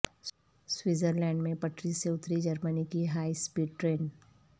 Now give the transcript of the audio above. Switzerland میں پٹری سے اتری جرمنی کی ہائی اسپیڈ ٹرین